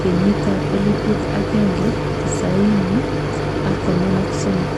kenyit ab elibut ak kenge tisaini ak konom ak somok.